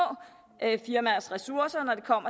firmaers ressourcer når det kom